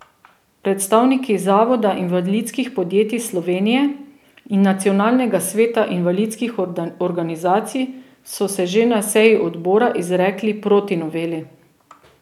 Predstavniki Zavoda invalidskih podjetij Slovenije in Nacionalnega sveta invalidskih organizacij so se že na seji odbora izrekli proti noveli.